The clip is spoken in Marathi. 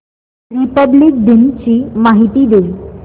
रिपब्लिक दिन ची माहिती दे